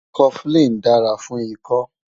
Cofflin dára fún ikọ́